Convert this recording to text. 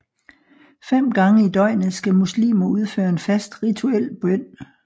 Fem gange i døgnet skal muslimer udføre en fast rituel bøn